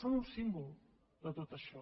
són un símbol de tot això